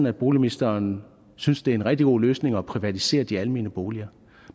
at boligministeren synes det er en rigtig god løsning at privatisere de almene boliger